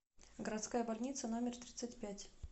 городская больница номер тридцать пять